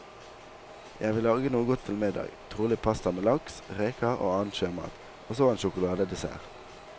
Jeg vil lage noe godt til middag, trolig pasta med laks, reker og annen sjømat, og så en sjokoladedessert.